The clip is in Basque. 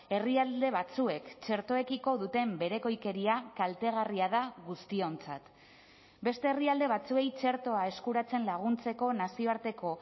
herrialde batzuek txertoekiko duten berekoikeria kaltegarria da guztiontzat beste herrialde batzuei txertoa eskuratzen laguntzeko nazioarteko